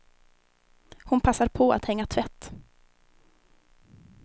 Hon passar på att hänga tvätt.